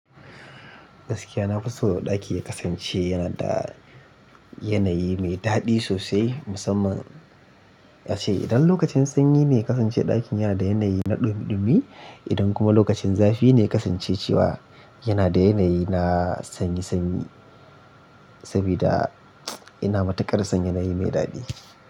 Gaskiya na fi so ɗaki ya kasance yana da yanayi mai daɗi sosai, musamman ace idan lokacin sanyi ne ya kasance ɗakin yana da yanayi na ɗumiɗumi, idan kuma lokacin zafi ne ya kasance cewa yana da yanayi na sanyi sanyi. Saboda ina matuƙar son yanayi mai daɗi.